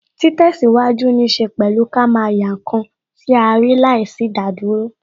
Ti tesiwaju ní ṣe pẹ̀lú ká máa yá ǹkan tí a rí láìsí idaduro